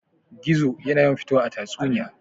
Gizo yana yawan fitowa a tatsuniya.